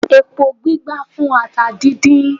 Epo gbígbá fún ata díndín